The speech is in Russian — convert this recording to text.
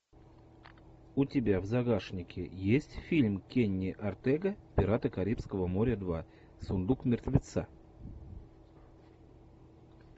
у тебя в загашнике есть фильм кенни ортега пираты карибского моря два сундук мертвеца